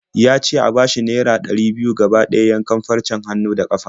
Ya ce a bashi naira ɗari biyu gaba ɗaya yankan farcen hannu da ƙafa.